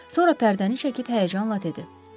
Sonra pərdəni çəkib həyəcanla dedi.